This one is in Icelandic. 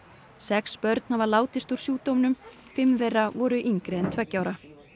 sex börn hafa látist úr sjúkdómnum fimm þeirra voru yngri en tveggja ára